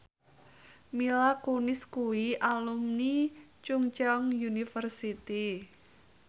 Mila Kunis kuwi alumni Chungceong University